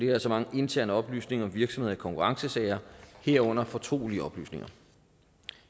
er så mange interne oplysninger om virksomheder i konkurrencesager herunder fortrolige oplysninger